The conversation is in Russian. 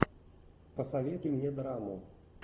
посоветуй мне драму